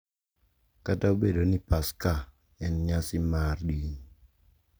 Kata obedo ni Paska en nyasi mar din,